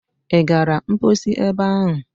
Ị gara mposi ebe ahụ?